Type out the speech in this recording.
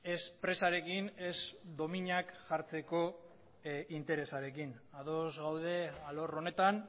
ez presarekin ez dominak jartzeko interesarekin ados gaude alor honetan